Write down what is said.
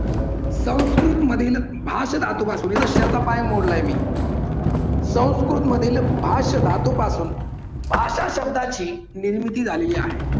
संस्कृत मधील भाषण लातूर धातूपासून शेळीचा पाय मोडला आणि संस्कृतमध्ये भाष्य धातूपासून भाषा शब्दाची निर्मिती झालेली आहे.